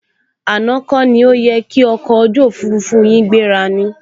Àná kọ ni ó yẹ ki ọkọ̀ ojú òfurufú yin gbéra ni?